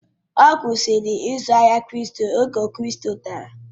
Ọ kwụsịrị izu ahịa kripto oge kripto dara